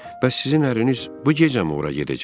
Bəs sizin ərliniz bu gecəmi ora gedəcək?